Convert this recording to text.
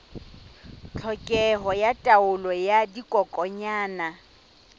tlhokeho ya taolo ya dikokwanyana